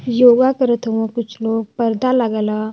योग करत हउवा कुछ लोग पर्दा लगल ह।